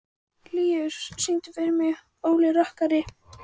Líus, syngdu fyrir mig „Óli rokkari“.